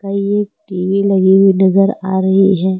और ये एक टी_वी लगी हुई नजर आ रही है।